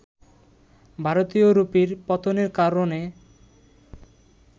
“ভারতীয় রুপির পতনের কারণে